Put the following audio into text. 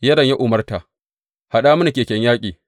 Yoram ya umarta, Haɗa mini keken yaƙi!